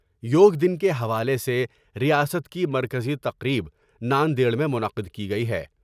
یوگ دن کے حوالے سے ریاست کی مرکزی تقریب نا ندیڑ میں منعقد کی گئی ہے ۔